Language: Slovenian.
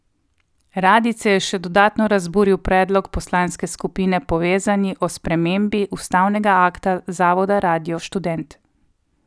Radijce je še dodatno razburil predlog poslanske skupine Povezani o spremembi ustanovnega akta Zavoda Radio Študent.